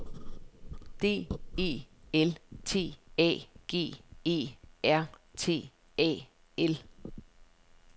D E L T A G E R T A L